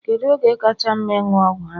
Kedụ oge kacha mma ịṅụ ọgwụ ahụ?